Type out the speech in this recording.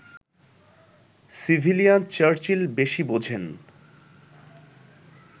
civilian Churchill বেশি বোঝেন